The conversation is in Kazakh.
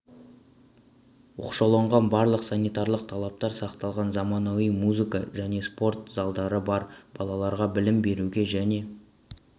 оқшауланған барлық санитарлық талаптар сақталған заманауи музыка және спорт залдары бар балаларға білім беруге және